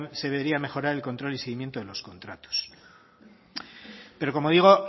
se debería mejorar el control y seguimiento de los contratos pero como digo